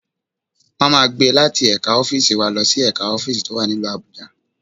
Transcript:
Wọ́n máa gbé e láti ẹ̀ka ọ́fíìsì wa lọ sí ẹ̀ka ọ́fíìsì tó wà nílùú Abuja